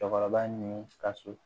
Cɛkɔrɔba ni faso